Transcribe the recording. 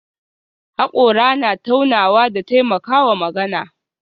Hakora na taunawa da taimakawa magana